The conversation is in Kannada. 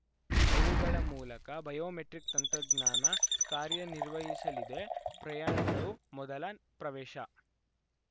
ಅವುಗಳ ಮೂಲಕ ಬಯೋಮೆಟ್ರಿಕ್‌ ತಂತ್ರಜ್ಞಾನ ಕಾರ್ಯನಿರ್ವಹಿಸಲಿದೆ ಪ್ರಯಾಣಿಕರು ಮೊದಲ ಪ್ರವೇಶ